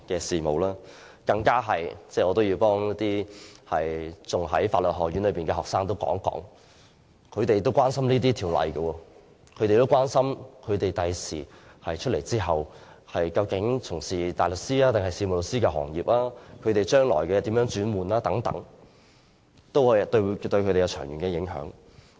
此外，我也要替仍在法律學院修讀的學生說話，他們也關心這些法例，關心在畢業後應該加入大律師抑或事務律師的行業，以及將來如何轉業等，全部都對他們有長遠影響。